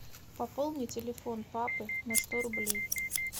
пополнить телефон папы на сто рублей